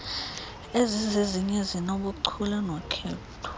ezizezinye ezinobuchule nokhetho